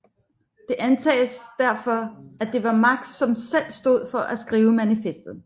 Det antages derfor at det var Marx som selv stod for at skrive manifestet